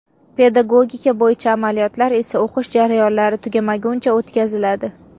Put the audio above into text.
Pedagogika bo‘yicha amaliyotlar esa o‘qish jarayonlari tugamaguncha o‘tkaziladi.